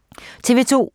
TV 2